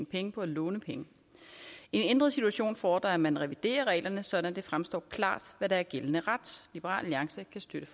penge på at låne penge en ændret situation fordrer at man reviderer reglerne så det fremstår klart hvad der er gældende ret liberal alliance kan støtte